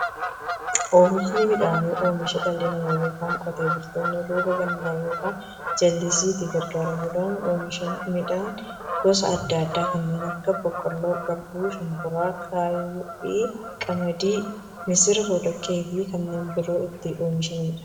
Oomishni midhaanii, oomisha dhalli namaa yookiin Qotee bultoonni roba gannaa yookiin jallisiitti gargaaramuun oomisha midhaan gosa adda addaa kanneen akka; boqqolloo, garbuu, shumburaa, gaayyoo, xaafii, qamadii, misira, boloqqeefi kanneen biroo itti oomishamiidha.